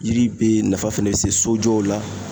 Yiri be nafa fɛnɛ be se sojɔw la